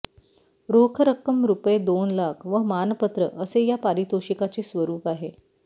रोख रक्कम रुपये दोन लाख व मानपत्र असे या पारितोषिकाचे स्वरूप आहे